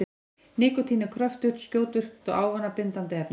Nikótín er kröftugt, skjótvirkt og ávanabindandi efni.